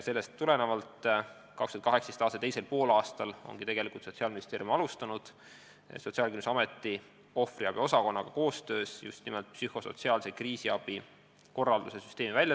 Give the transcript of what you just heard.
Sellest tulenevalt hakkaski Sotsiaalministeerium 2018. aasta teisel poolaastal koos Sotsiaalkindlustusameti ohvriabi osakonnaga välja töötama psühhosotsiaalse kriisiabi korralduse süsteemi.